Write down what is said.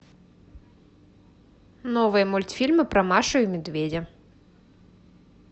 новые мультфильмы про машу и медведя